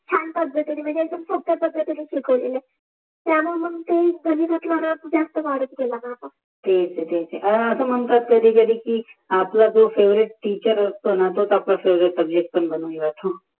छान पद्तीने मनजे सोप्या पद्धतीने शिकवले तला मानून झात क्नोव्लोगले कला जातो तेच तेच अस मनतात कधि कधि कि आपला जो फेवरेट टीचर असतो न तोच आप फेवरेट सब्जेक्ट पन बनुन जातो